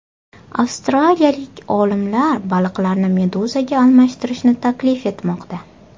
Avstraliyalik olimlar baliqlarni meduzaga almashtirishni taklif etmoqda.